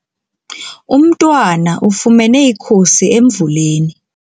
Umntwana ufumene ikhusi emvuleni.